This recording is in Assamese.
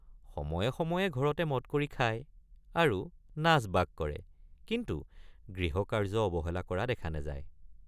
সময়ে সময়ে ঘৰতে মদ কৰি খায় আৰু নাচবাগ কৰে কিন্তু গৃহকাৰ্য অৱহেলা কৰা দেখা নাযায়।